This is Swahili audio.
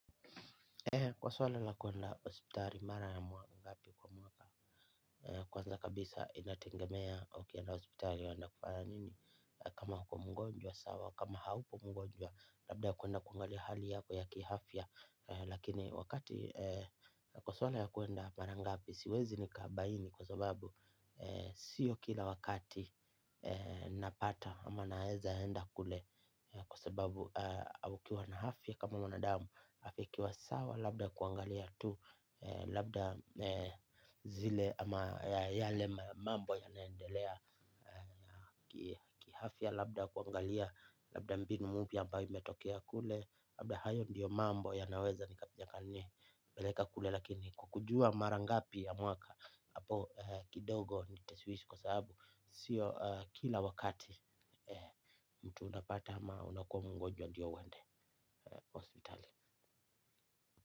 Kwa swala la kuenda hospitali mara ya ngapi kwa mwaka. Kwanza kabisa inategemea ukienda hospitali unaenda kufanya nini. Kama uko mgonjwa sawa, kama haupo mgonjwa. Labda kuenda kuangali hali yako ya kiafya. Lakini wakati kwa swala ya kuenda mara ngapi siwezi nikabaini. Kwa sababu sio kila wakati napata ama naeza enda kule. Kwa sababu ukiwa na afya kama mwanadamu hata ikiwa sawa labda kuangalia tu labda zile ama yale mambo yanaendelea. Ki afya labda kuangalia labda mbinu mpya ambayo imetokea kule. Labda hayo ndiyo mambo yanaweza yaka nini peleka kule. Lakini kwa kujua marangapi ya mwaka hapo kidogo nitashwishwi kwa sababu sio kila wakati mtu unapata ama unakuwa mgonjwa ndio uende hospitali.